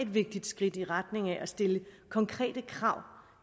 vigtigt skridt i retning af at stille konkrete krav